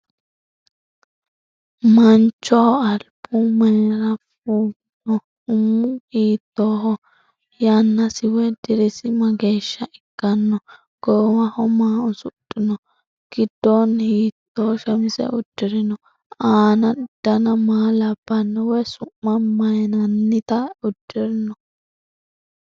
Manchoho alibbu mayiira fuuginno? Umu hiittoho? Yannasi woy dirisi mageeshsha ikkanno? Goowaho maa usudhinno? gidoonni hiitto shamisse udirinno? aanna danna maa labbanno woy su'ma mayiinnanitta udirinno?